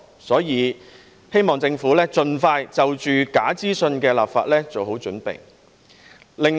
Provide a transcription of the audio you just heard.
所以，我希望政府盡快就假資訊的立法做好準備。